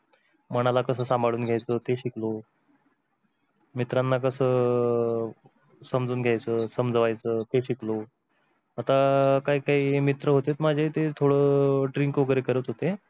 मनाला कस सांभाळून घ्यायच ते शिकलो. मित्राना कस समजून घ्यायच कस समजवायच ते शिकलो. आता काही काही मित्र होते माझे ते थोडे drink वेगेरे करत होते,